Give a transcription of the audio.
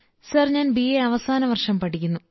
sir ഞാൻ BA അവസാനവർഷം പഠിക്കുന്നു